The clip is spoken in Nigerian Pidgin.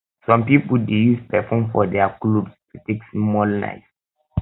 some pipo de use perfume for their clothes to take small nice